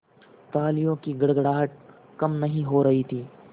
तालियों की गड़गड़ाहट कम नहीं हो रही थी